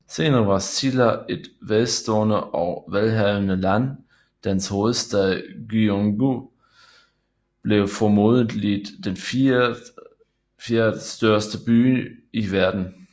Senere var Silla et velstående og velhavende land og dens hovedstad Gyeongju var formodentlig den fjerde største by i verden